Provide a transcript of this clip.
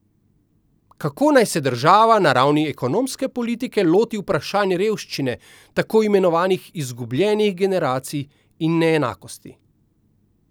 Kako naj se država na ravni ekonomske politike loti vprašanj revščine, tako imenovanih izgubljenih generacij in neenakosti?